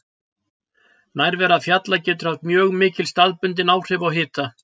Nærvera fjalla getur haft mjög mikil staðbundin áhrif á hita.